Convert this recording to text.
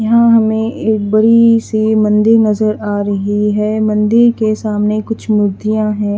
यहां हमें एक बड़ी सी मंदिर नजर आ रही है मंदिर के सामने कुछ मूर्तियां हैं।